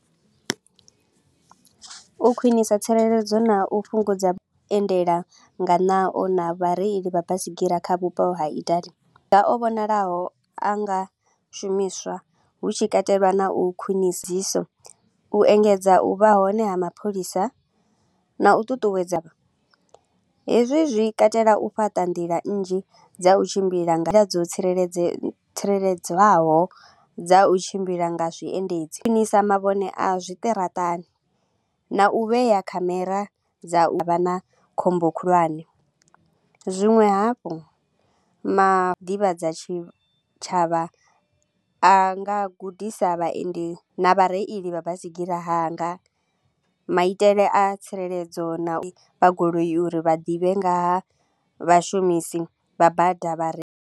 U khwinisa tsireledzo na u fhungudza vhuendela nga naho na vhareili vha basigira kha vhupo ha Italy, o vhonalaho a nga shumiswa hu tshi katelwa na u u engedza u vha hone ha mapholisa na u ṱuṱuwedza. Hezwi zwi katela u fhaṱa nḓila nnzhi dza u tshimbila nga dzo tsireledzea tsireledzwaho dza u tshimbila nga zwiendedzi. Khwinisa mavhone a zwiṱaraṱani na u vhea khamera dza u vha na khombo khulwane, zwinwe hafhu tshitshavha a nga gudisa vhaendi na vhareili vha baisigira hanga, maitele a tsireledzo na u vha goloi uri vha ḓivhe nga ha vhashumisi vha bada vha re.